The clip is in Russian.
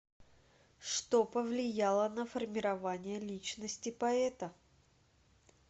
что повлияло на формирование личности поэта